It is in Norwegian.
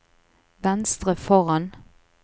venstre foran